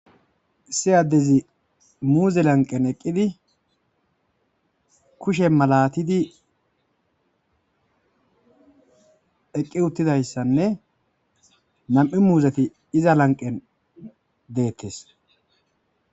Issi adezzi muze laniqqenni eqqidd kushshe malattidd eqqi uttidayissanne nam''u muzetti izza laniqqenni detees.